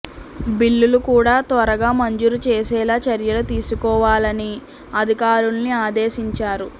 బిల్లులు కూడా త్వరగా మంజూరు చేసేలా చర్యలు తీసుకోవాలని అధికారుల్ని ఆదేశించారు